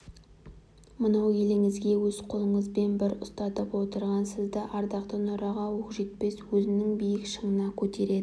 мынау еліңізге өз қолыңызбен бір ұстатып отырған сізді ардақты нұраға оқжетпес өзінің биік шыңына көтереді